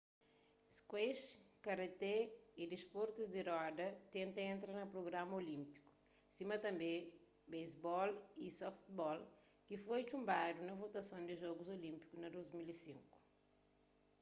squash karaté y disportus di roda tenta entra na prugrama olínpiku sima tanbê basebol y softball ki foi txunbadu na votason di jogus olínpiku na 2005